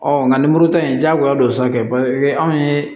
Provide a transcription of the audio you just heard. nka nin muru ta in diyagoya don sanfɛ anw ye